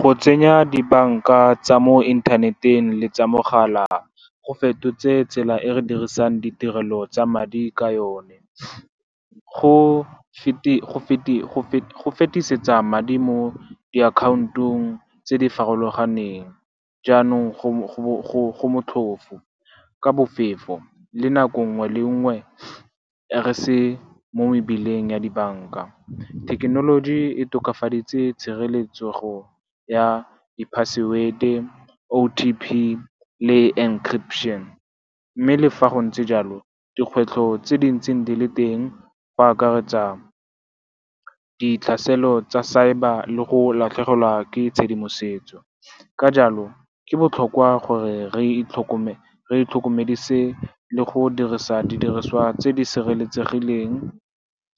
Go tsenya dibanka tsa mo inthaneteng le tsa mogala go fetotse tsela e re dirisang ditirelo tsa madi ka yone. Go fetisetsa madi mo diakhantong tse di farologaneng jaanong go motlhofo, ka bofefo, le nako nngwe le nngwe re se mo mebileng ya dibanka. Thekenoloji e tokafaditse tshireletsego ya di-password-e, OTP le encryption. Mme le fa go ntse jalo, dikgwetlho tse di ntseng di le teng di akaretsa ditlhaselo tsa cyber le go latlhegelwa ke tshedimosetso. Ka jalo, go botlhokwa gore re itlhokomedise le go dirisa didiriswa tse di sireletsegileng